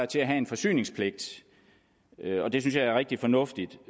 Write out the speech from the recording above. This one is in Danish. til at have en forsyningspligt og det synes jeg er rigtig fornuftigt